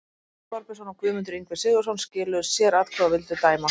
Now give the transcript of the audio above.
Halldór Þorbjörnsson og Guðmundur Ingvi Sigurðsson skiluðu sératkvæði og vildu dæma